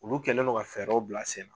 Olu kɛlen do ka fɛɛrɛw bila sen na